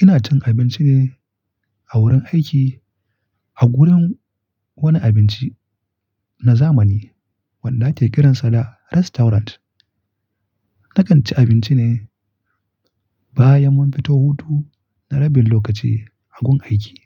Ina cin abinci ne a wurin aiki a gurin wani abinci na zamani wanda ake kiransa da restaurant. Na kan ci abinci ne bayan mun fito hutu na rabin lokaci a gun aiki.